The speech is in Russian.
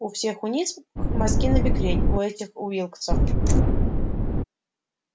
у всех у низ мозги набекрень у этих уилксов